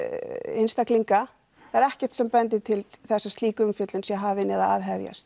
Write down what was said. einstaklinga það er ekkert sem bendir til þess að slík umfjöllun sé hafin eða að hefjast